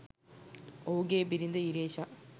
ඔහුගේ බිරිඳ ඉරේෂා